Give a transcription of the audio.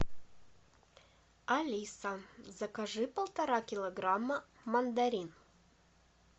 алиса закажи полтора килограмма мандарин